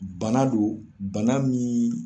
Bana don bana min.